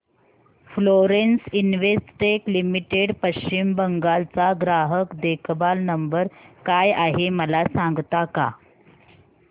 Florence Investec limited Paschim Bangal चा ग्राहक देखभाल नंबर काय आहे मला सांगता का